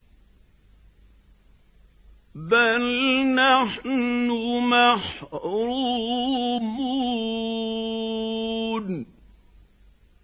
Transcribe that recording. بَلْ نَحْنُ مَحْرُومُونَ